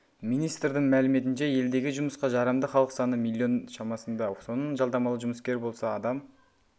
министрдің мәліметінше елдегі жұмысқа жарамды халық саны миллион шамасында соның жалдамалы жұмыскер болса адам